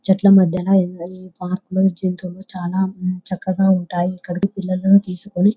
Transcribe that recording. చెట్ల మధ్యన పార్కు లోని జంతువులు చాలా చక్కగా ఉంటాయి. ఇక్కడికి పిల్లల్ని తీసుకొని --